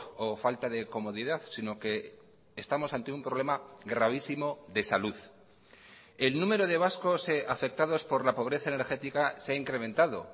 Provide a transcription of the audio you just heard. o falta de comodidad sino que estamos ante un problema gravísimo de salud el número de vascos afectados por la pobreza energética se ha incrementado